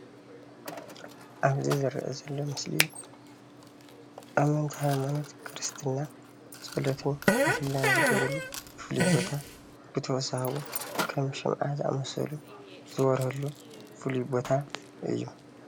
ኣብዚ ዝረአ ዘሎ ምስለ ኣመንቲ ሃይማኖት ክርስትና ፀሎትን ምህለላን ዝገብርሉ ፍሉይ ቦታ እዩ፡፡ ብተወሳኪ እውን ከም ሽምዓ ዝኣምሰሉ ዝበርሀሉ ፉሉይ ቦታ እዩ፡፡